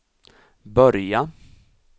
börja